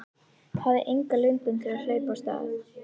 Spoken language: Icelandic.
Hafði enga löngun til að hlaupa af stað.